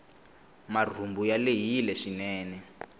marhumbu ya lehile swinene